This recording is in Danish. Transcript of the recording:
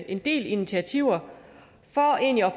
en del initiativer